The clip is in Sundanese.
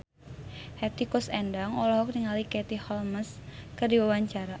Hetty Koes Endang olohok ningali Katie Holmes keur diwawancara